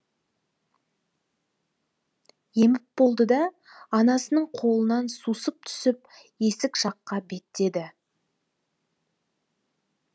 еміп болды да анасының қолынан сусып түсіп есік жаққа беттеді